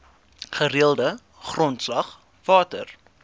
gereelde grondslag water